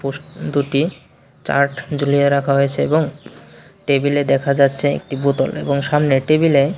দুটি চার্ট ঝুলিয়ে রাখা হয়েছে এবং টেবিলে দেখা যাচ্ছে একটি বোতল এবং সামনে টেবিলে--